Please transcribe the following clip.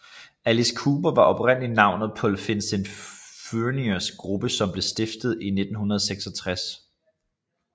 Alice Cooper var oprindelig navnet på Vincent Furniers gruppe som blev stiftet i 1966